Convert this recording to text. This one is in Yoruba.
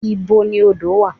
Ìbo ni odo wà?